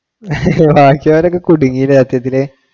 ബാക്കിയുള്ളവരൊക്കെ കുടുങ്ങി ഇല്ലേ സത്യത്തില്